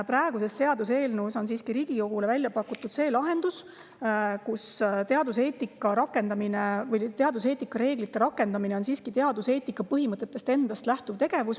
Praeguses seaduseelnõus on siiski Riigikogule välja pakutud lahendus, et teaduseetika reeglite rakendamine on teaduseetika põhimõtetest endast lähtuv tegevus.